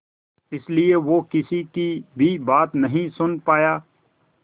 इसलिए वो किसी की भी बात नहीं सुन पाया